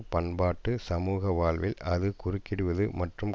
பண்பாட்டு சமூக வாழ்வில் அது குறுக்கிடுவது மற்றும்